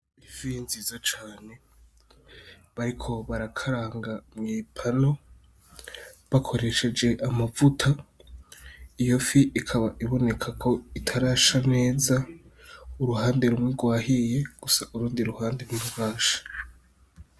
Ifi nziza cane bariko barakaranga mwi pano bakoresheje amavuta. Iyo fi ikaba iboneka ko itarasha neza, uruhande rumwe rwahiye gusa urundi ruhande ntirurasha.